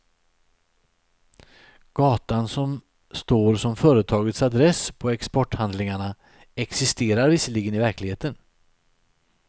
Gatan som står som företagets adress på exporthandlingarna, existerar visserligen i verkligheten.